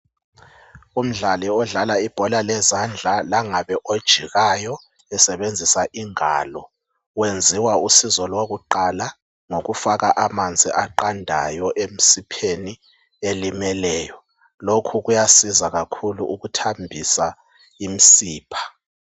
Umdlali odlala ibhola lezandla langabe ojikayo esebenzisa ingalo wenziwa usizo lwakuqala ngokufaka amanzi aqandayo emsipheni elimele lokhu kuyasiza kakhulu ukuthambisa imisipha.